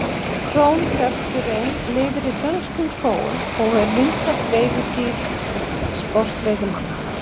Krónhjörturinn lifir í dönskum skógum og er vinsælt veiðidýr sportveiðimanna.